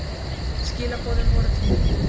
Skilaboðin voru til mín.